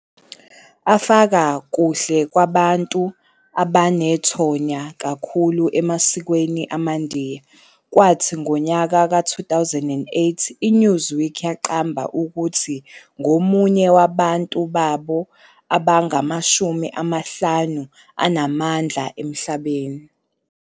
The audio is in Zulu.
afaka kuhlu lwabantu abanethonya kakhulu emasikweni amaNdiya, kwathi ngonyaka ka-2008, iNewsweek yamqamba ukuthi ngomunye wabantu babo abangamashumi amahlanu anamandla emhlabeni.